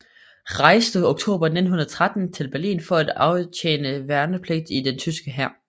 Rejste oktober 1913 til Berlin for at aftjene værnepligt i den tyske hær